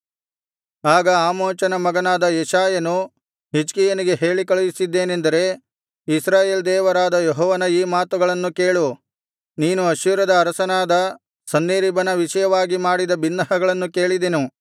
ಆಗ ಆಮೋಚನ ಮಗನಾದ ಯೆಶಾಯನು ಹಿಜ್ಕೀಯನಿಗೆ ಹೇಳಿಕಳುಹಿಸಿದ್ದೇನೆಂದರೆ ಇಸ್ರಾಯೇಲ್ ದೇವರಾದ ಯೆಹೋವನ ಈ ಮಾತುಗಳನ್ನು ಕೇಳು ನೀನು ಅಶ್ಶೂರದ ಅರಸನಾದ ಸನ್ಹೇರೀಬನ ವಿಷಯವಾಗಿ ಮಾಡಿದ ಬಿನ್ನಹಗಳನ್ನು ಕೇಳಿದೆನು